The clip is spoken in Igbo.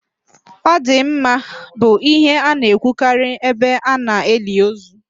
"Ọ dị mma" bụ ihe a na-ekwukarị ebe ana-eli ozu